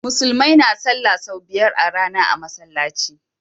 Musulmai na sallah sau biyar a rAna a masalaci